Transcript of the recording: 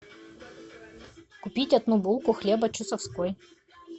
купить одну булку хлеба чусовской